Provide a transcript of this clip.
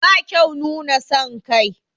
Ba kyau nuna son kai.